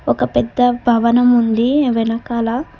ఒక పెద్ద భవనం ఉంది వెనకాల.